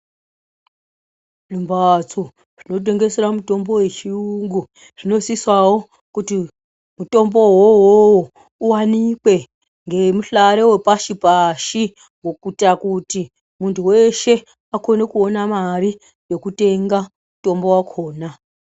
Zvimbatso zvinotengesera mitombo yechiyungu, zvinosisawo kuti mutombowo iwowo uwanikwe ngemuhlare wepashi-pashi, kuyita kuti muntu weshe akone kuwona mari yekutenga mutombo wakona.